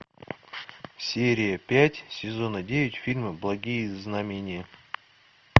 серия пять сезона девять фильма благие знамения